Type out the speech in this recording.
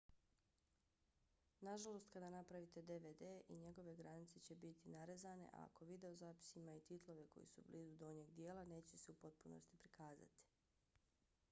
nažalost kada napravite dvd i njegove granice će biti narezane a ako videozapis ima i titlove koji su blizu donjeg dijela neće se u potpunosti prikazati